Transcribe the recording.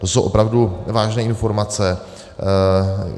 To jsou opravdu vážné informace.